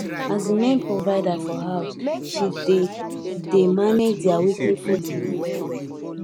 as the main provider for house she dey dey manage their weekly food money well well